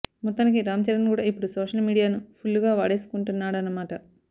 మొత్తానికి రామ్ చరణ్ కూడా ఇప్పుడు సోషల్ మీడియాను ఫుల్లుగా వాడేసుకుంటున్నాడన్నమాట